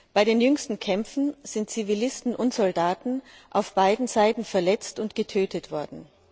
Bei den jüngsten Kämpfen sind Zivilisten und Soldaten auf beiden Seiten verletzt und getötet worden.